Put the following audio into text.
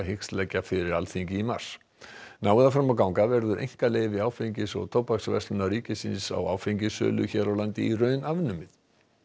hyggst leggja fyrir Alþingi í mars nái það fram að ganga verður einkaleyfi Áfengis og tóbaksverslunar ríkisins á áfengissölu hér á landi í raun afnumið